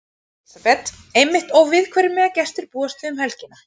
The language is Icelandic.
Elísabet: Einmitt og við hverju mega gestir búast við um helgina?